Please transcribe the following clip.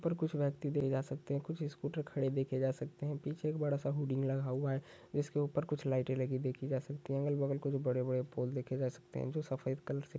ऊपर कुछ व्यक्ति देखे जा सकते है कुछ स्कूटर खड़े देखे जा सकते है पीछे एक बड़ा सा होडिंग लगा हुआ है जिसके ऊपर कुछ लाइटे लगे देखी जा सकते है अगल बगल कुछ बड़े पोल देखे जा सकते है जो सफ़ेद कलर से--